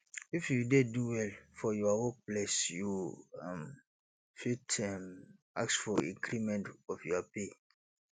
if you dey do well for your work place you um fit um ask for increment of your pay